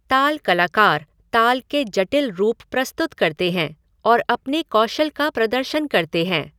ताल कलाकार ताल के जटिल रूप प्रस्तुत करते हैं और अपने कौशल का प्रदर्शन करते हैं।